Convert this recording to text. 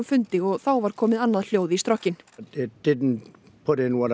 fundi og þá var komið annað hljóð í strokkinn